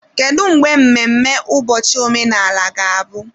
Kedu mgbe mmemme ụbọchị omenala ga-abụ?